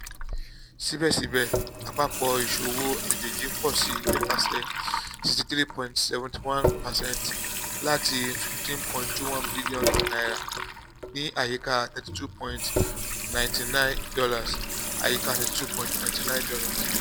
sibẹsibẹ apapọ awọn iṣowo ajeji pọ si nipasẹ sixty three point seven one percent lati n fifteen point two one bilionu (ni ayika $ thirty two point nine nine ayika $ thirty two point nine nine